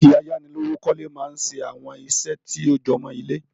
Báànkì ayánilówókọ̀lé máa ń ṣe àwọn ìṣe tó jọmó ilé